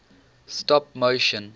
stop motion